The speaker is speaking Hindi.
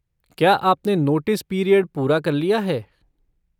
क्या आपने नोटिस पीरियड पूरा कर लिया है?